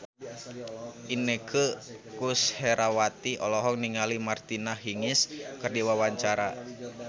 Inneke Koesherawati olohok ningali Martina Hingis keur diwawancara